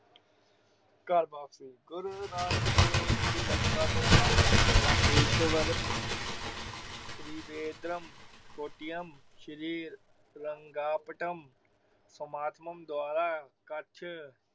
ਘਰ ਵਾਪਸੀ, ਗੁਰੂ ਨਾਨਕ ਦੇਵ ਜੀ ਲੰਕਾ ਤੋਂ ਬਾਦ ਰਾਮੇਸ਼ਵਰਮ ਤਰਿਵੇਦਰਮ, ਕੋਟਿਆਮ ਸ਼੍ਰੀ ਲੰਗਾਪਟੰਮ, ਸਮਾਤਮਮ ਦੁਆਰਾ ਕੱਛ